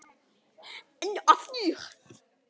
Enn og aftur.